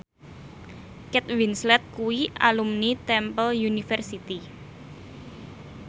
Kate Winslet kuwi alumni Temple University